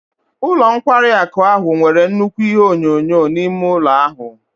Ụlọ nkwari akụ ahụ nwere nnukwu ihé onyoonyo n'ime ụlọ ahụ